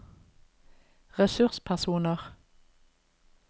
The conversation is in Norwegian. ressurspersoner